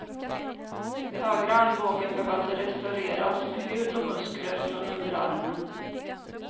Högra armbågen behövde restaureras med hud och muskler från underarmen.